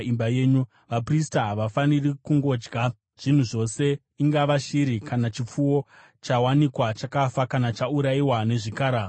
Vaprista havafaniri kungodya zvinhu zvose, ingava shiri kana chipfuwo, chawanikwa chakafa kana chaurayiwa nezvikara zvesango.